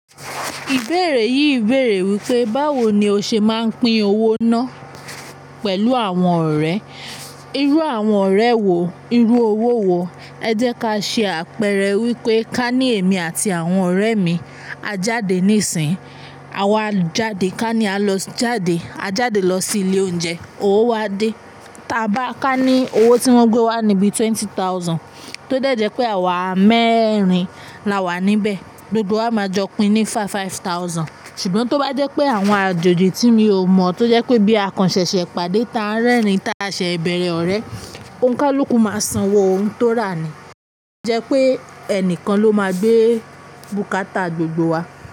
Ìbéèrè yìí béèrè wípé, báwo ni ó ṣe máa ń pín owó náà pẹ̀lú àwọn ọ̀rẹ́? Irú àwọn ọ̀rẹ́ wo? Irú owó wo? Ẹ jẹ́ ká ṣe àpẹẹrẹ wípé ká ní èmi àti àwọn ọ̀rẹ́ mi, a jáde nísìnyí, àwa jade ká ní a lọ jáde, a jáde lọ sí ilé oúnjẹ, owó wá dé. Táa bá ká ní owó tí wọ́n gbé wá nibi twenty thousand, tó dẹ̀jẹ́ pé àwa mẹ́rin la wà níbẹ̀, gbogbo wa máa jọ pín ín ní five thousand. Ṣùgbọ́n tó bá jẹ́ pé àwọn àjòjì tí mi ò mọ̀, tó jẹ́ pé bí a kan ṣẹ̀ṣẹ̀ pàdé táa ń rẹ́rìn táa ṣe ìbẹ̀rẹ̀ ọ̀rẹ́, ohun kan ló kún máa sanwó ohun tó rà ni. Jẹ́ pé ẹnìkan ló máa gbé bùkátà gbogbo wa.